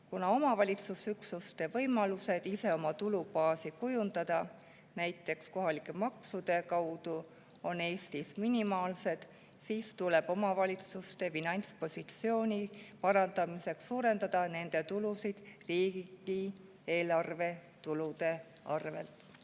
Kuna omavalitsusüksuste võimalused ise oma tulubaasi kujundada, näiteks kohalike maksude kaudu, on Eestis minimaalsed, siis tuleb omavalitsuste finantspositsiooni parandamiseks suurendada nende tulusid riigieelarve tulude arvel.